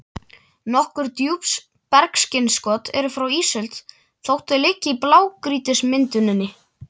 Nokkur djúpbergsinnskot eru frá ísöld þótt þau liggi í blágrýtismynduninni.